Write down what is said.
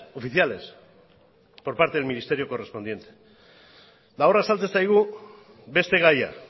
oficiales por parte del ministerio correspondiente eta hor azaltzen zaigu beste gaia